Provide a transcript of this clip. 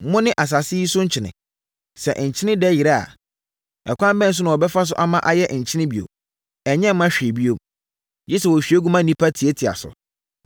“Mone asase yi so nkyene. Sɛ nkyene dɛ yera a, ɛkwan bɛn so na wɔbɛfa ama ayɛ nkyene bio? Ɛnyɛ mma hwee bio, gye sɛ wɔhwie gu na nnipa tiatia so.